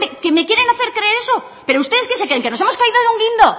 que me quieren hacer creer eso pero ustedes qué se creen que nos hemos caído de un guindo